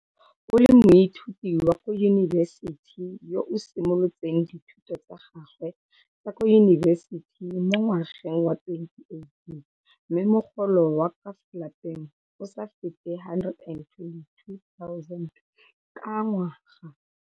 O le moithuti wa kwa yunibesiti yo a simolotseng dithuto tsa gagwe tsa kwa yunibesiti mo ngwageng wa 2018 mme mogolo wa ka fa lapeng o sa fete R122 000 ka ngwaga.